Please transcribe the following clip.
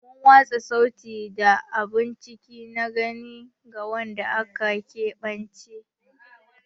Muna watsa sauti da abun ciki na gani ga wanda aka keɓance.